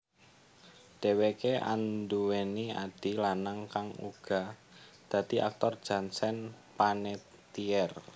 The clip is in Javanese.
Dheweké anduwèni adhi lanang kang uga dadi aktor Jansen Panettiere